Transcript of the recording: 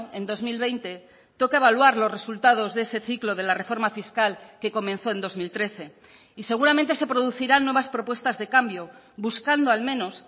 en dos mil veinte toca evaluar los resultados de ese ciclo de la reforma fiscal que comenzó en dos mil trece y seguramente se producirán nuevas propuestas de cambio buscando al menos